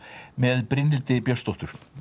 með Brynhildi Björnsdóttur